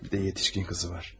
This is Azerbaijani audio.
Bir də yetkin qızı var.